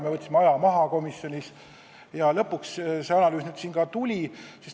Me võtsime komisjonis aja maha ja lõpuks see analüüs ka tuli.